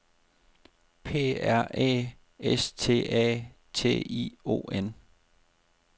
P R Æ S T A T I O N